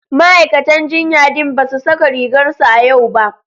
Ma'aikatan jinya din ba su saka rigar su a yau ba.